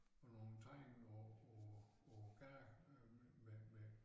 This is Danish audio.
Og nogle tegninger på på på æ gade øh med med